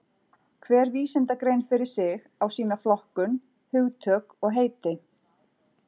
Hver vísindagrein fyrir sig á sína flokkun, hugtök og heiti.